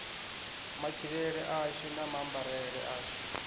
matshilele ashu na maambarele ashu